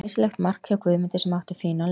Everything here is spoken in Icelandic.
Glæsilegt mark hjá Guðmundi sem átti fínan leik.